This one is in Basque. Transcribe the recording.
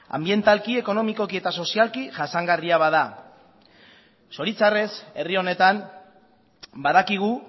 anbientalki ekonomikoki eta sozialki jasangarria bada zoritxarrez herri honetan badakigu